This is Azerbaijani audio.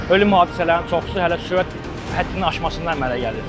Ölüm hadisələrinin çoxusu hələ sürət həddini aşmasından əmələ gəlir.